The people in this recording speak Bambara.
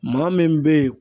Maa min bɛ ye